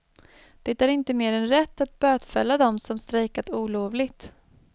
Det är inte mer än rätt att bötfälla dem som strejkat olovligt.